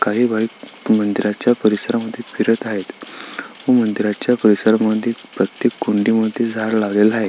काही बाईक मंदिराच्या परीसरामध्ये फिरत आहेत व मंदिराच्या परीसरा मध्ये प्रत्येक कुंडी मध्ये झाड लागलेलं आहे.